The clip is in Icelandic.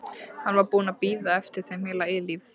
Hann var búinn að bíða eftir þeim heila eilífð.